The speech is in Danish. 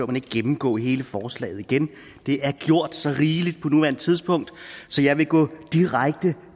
man ikke gennemgå hele forslaget igen det er gjort så rigeligt på nuværende tidspunkt så jeg vil gå direkte